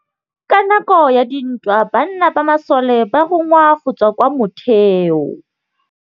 Ka nakô ya dintwa banna ba masole ba rongwa go tswa kwa mothêô.